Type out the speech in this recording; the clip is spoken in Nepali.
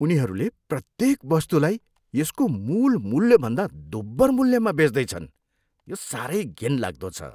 उनीहरूले प्रत्येक वस्तुलाई यसको मूल मूल्यभन्दा दोब्बर मूल्यमा बेच्दैछन्। यो साह्रै घिनलाग्दो छ।